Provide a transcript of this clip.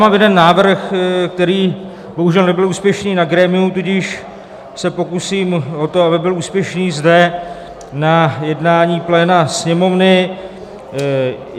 Mám jeden návrh, který bohužel nebyl úspěšný na grémiu, tudíž se pokusím o to, aby byl úspěšný zde, na jednání pléna Sněmovny.